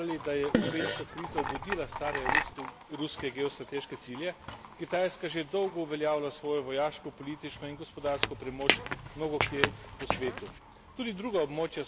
Danes smo že ugotaljali, da je ukrajinska kriza obudila stare ruske geostrateške cilje, Kitajska že dolgo uvljeavlja svojo vojaško, politično in gospodarsko premoč mnogokje po svetu.